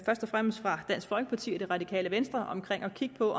fremmest fra dansk folkeparti og det radikale venstre om at kigge på